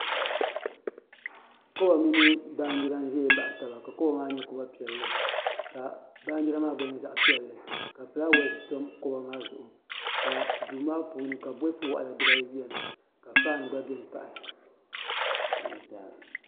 Holl mini Baanjira n ʒɛya baɣa taba ka hool maa nyɛ zaɣ piɛlli ka baanjira maa gba nyɛ zaɣ piɛlli ka fulaawɛs tam kuɣu maa zuɣu ka duu maa puuni ka bolfu waɣala dibayi biɛni ka faan gba biɛni